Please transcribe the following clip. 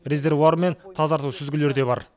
резервуар мен тазарту сүзгілері де бар